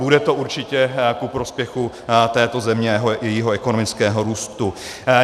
Bude to určitě ku prospěchu této země i jejího ekonomického růstu.